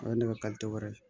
O ye ne ka wɛrɛ ye